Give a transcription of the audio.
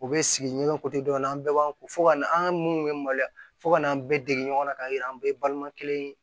U bɛ sigi ɲɔgɔn kutodɔn an bɛɛ b'an ko fo ka na an ka mun bɛ maloya fo ka n'an bɛɛ dege ɲɔgɔn kan k'a yira an bɛɛ ye balima kelen ye